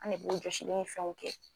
An ne b'o jɔsili ni fɛnw kɛ.